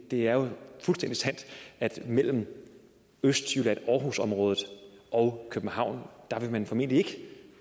det er jo fuldstændig sandt at mellem østjylland aarhusområdet og københavn vil man formentlig ikke